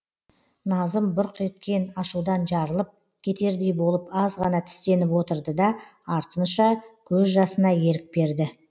назым бұрқ еткен ашудан жарылып кетердей болып аз ғана тістеніп отырды да артыншы көз жасына ерік берді